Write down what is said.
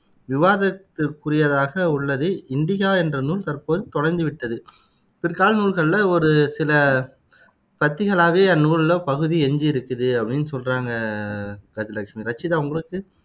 விவாதத்திற்குரியதாக உள்ளது இண்டிகா என்ற நூல் தற்போது தொலைந்து விட்டது பிற்கால நூல்களில ஒரு சில பத்திகளாகவே அந்நூலோட பகுதிகள் எஞ்சியிருக்குது அப்படினு சொல்றாங்க கஜலட்சுமி ரச்சிதா உங்களுக்கு